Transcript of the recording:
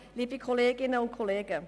die meisten davon